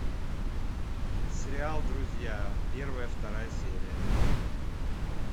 сериал друзья первая вторая серия